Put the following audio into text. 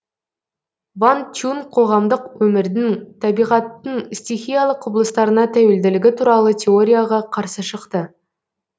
ван чун қоғамдық өмірдің табиғаттың стихиялы құбылыстарына тәуелділігі туралы теорияға қарсы шықты